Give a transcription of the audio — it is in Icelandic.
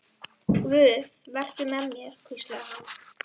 Guð, vertu með mér, hvíslaði hann.